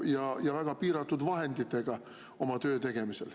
… ja neil on väga piiratud vahendid oma töö tegemisel.